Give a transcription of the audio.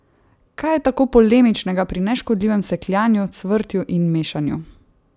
Kaj je tako polemičnega pri neškodljivem sekljanju, cvrtju in mešanju?